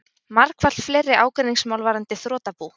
Margfalt fleiri ágreiningsmál varðandi þrotabú